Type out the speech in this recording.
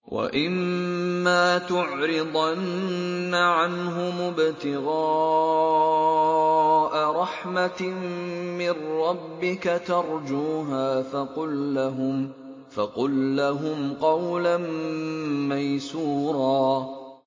وَإِمَّا تُعْرِضَنَّ عَنْهُمُ ابْتِغَاءَ رَحْمَةٍ مِّن رَّبِّكَ تَرْجُوهَا فَقُل لَّهُمْ قَوْلًا مَّيْسُورًا